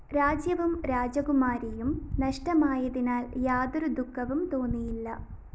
രാജ്യവും രാജകുമാരിയും നഷ്ടമായതിനാല്‍ യാതൊരു ദുഃഖവും തോന്നിയില്ല